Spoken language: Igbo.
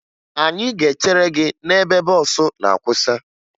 Anyị ga-echere gị n'ebe bọọsụ na-akwụsa